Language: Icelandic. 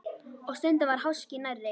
Og stundum var háskinn nærri.